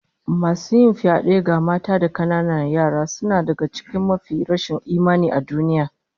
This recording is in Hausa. Masu yin fyade ga mata da kananan yara suna daga cikin mafiya rashin imani a duniya